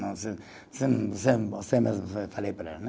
Não, você, você, você, você mesmo falei para ela né.